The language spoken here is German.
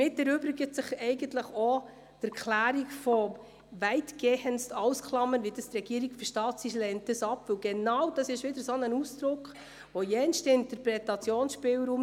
Wer der Planungserklärung FiKo-Mehrheit und FDP/Haas zustimmt, stimmt Ja, wer diese ablehnt, stimmt Nein.